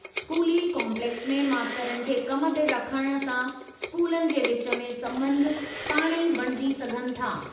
स्कूली काम्पलेक्स में मास्तरनि खे कम ते रखणु सां स्कूलनि जे विच में सम्बंध पाणे ई बणिजी सघनि था।